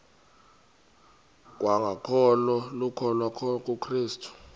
kwangokholo lokukholwa kukrestu